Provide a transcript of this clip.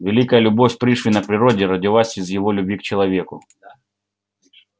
великая любовь пришвина к природе родилась из его любви к человеку